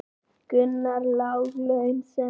Gunnar: Lág laun sem sagt?